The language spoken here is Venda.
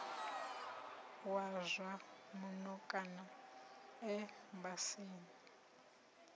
wa zwa muno kana embasini